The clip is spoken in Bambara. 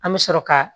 An bɛ sɔrɔ ka